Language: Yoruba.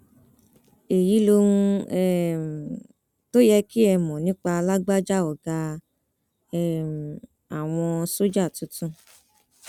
èyí lohun um tó yẹ kí ẹ mọ nípa lágbájá ọgá um àwọn sójà tuntun